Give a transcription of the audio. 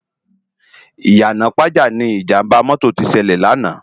Iyana Ipaja ni Ijàmbá mòtó ti sèlè làná